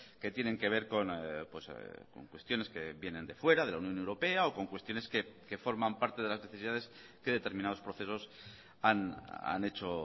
que tienen que ver con cuestiones que vienen de fuera de la unión europea o con cuestiones que forman parte de las necesidades que determinados procesos han hecho